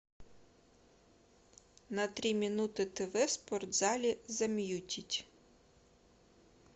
на три минуты тв в спортзале замьютить